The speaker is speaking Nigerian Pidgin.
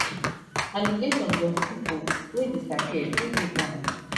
allegations of pipo wey disappear still dey ground